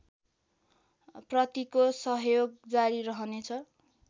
प्रतिको सहयोग जारी रहनेछ